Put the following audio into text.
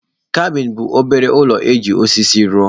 Kabin bụ obere ụlọ e ji osisi rụọ.